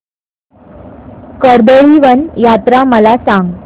कर्दळीवन यात्रा मला सांग